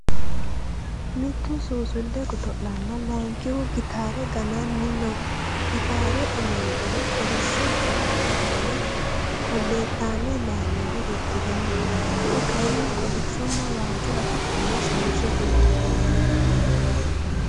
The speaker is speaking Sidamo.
Mittu suusulle godo'lanna laankihu gitaare gananni no. Gitaare amandohu kolishsho yakkeettanna kolleettame layiino uddire no. Ku'u kayinni kolishshonna waajjo afidhino shamise uddire no.